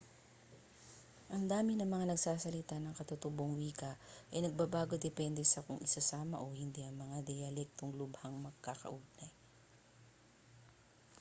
ang dami ng mga nagsasalita ng katutubong wika ay nagbabago depende sa kung isasama o hindi ang mga diyalektong lubhang magkakaugnay